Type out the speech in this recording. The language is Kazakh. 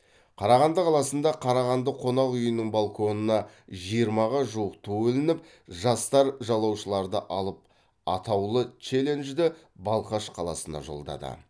қарағанды қаласында қарағанды қонақ үйінің балконына жиырмаға жуық ту ілініп жастар жалаушаларды алып атаулы челленджді балқаш қаласына жолдады